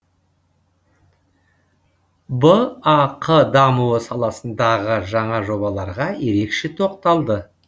бақ дамуы саласындағы жаңа жобаларға ерекше тоқталды